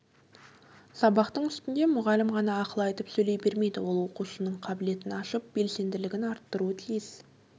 сабақтың үстінде мұғалім ғана ақыл айтып сөйлей бермейді ол оқушының қабілетін ашып белсенділігін арттыру тиіс